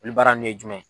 Olu baara nun ye jumɛn ye